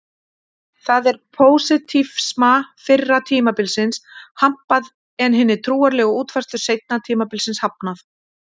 Þar er pósitífisma fyrra tímabilsins hampað en hinni trúarlegu útfærslu seinna tímabilsins hafnað.